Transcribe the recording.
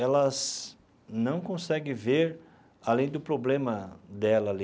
elas não conseguem ver além do problema dela ali.